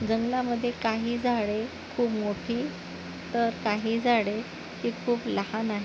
जंगलामध्ये काही झाडे खूप मोठी तर काही झाडे ही खूप लहान आहे.